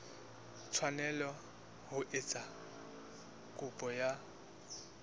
tshwanela ho etsa kopo ya